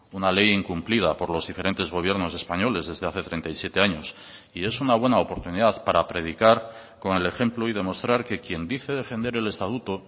una ley incumplida por los diferentes gobiernos españoles desde hace treinta y siete años y es una buena oportunidad para predicar con el ejemplo y demostrar que quien dice defender el estatuto